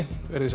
veriði sæl